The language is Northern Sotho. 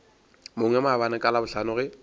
mongwe maabane ka labohlano ge